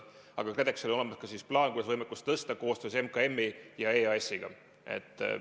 Aga KredExil on olemas ka plaan, kuidas võimekust tõsta koostöös MKM-i ja EAS-iga.